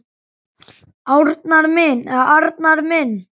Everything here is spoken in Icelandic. Arnar minn.